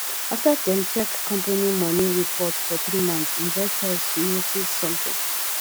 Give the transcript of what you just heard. after dem check company money reports for three months investors notice something